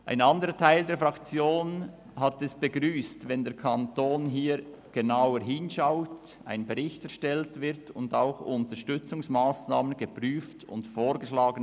Ein anderer Teil der Fraktion begrüsst es, wenn der Kanton genauer hinsieht, einen Bericht erstellt, Unterstützungsmassnahmen prüft und vorschlägt.